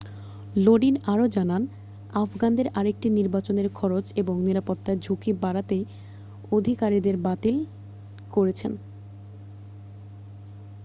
লোডিন আরও জানান আফগানদের আরেকটি নির্বাচন এর খরচ এবংনিরাপত্তায় ঝুঁকি এড়াতেই আধিকারিকেরা বাতিল করেছেন